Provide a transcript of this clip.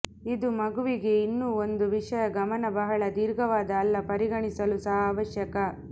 ಇದು ಮಗುವಿಗೆ ಇನ್ನೂ ಒಂದು ವಿಷಯ ಗಮನ ಬಹಳ ದೀರ್ಘವಾದ ಅಲ್ಲ ಪರಿಗಣಿಸಲು ಸಹ ಅವಶ್ಯಕ